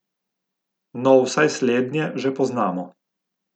No, vsaj slednje že poznamo.